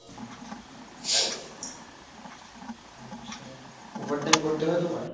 আচ্ছা, Over time করতে হয় তোমার?